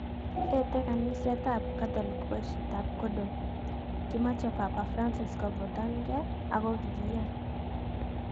Etei kanisetab katolik poishet ap kondom. Kimochei Papa Francis kofutan gei ako kiiyan